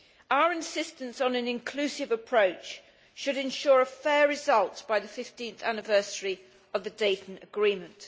Our insistence on an inclusive approach should include a fair result by the 15th anniversary of the Dayton Agreement.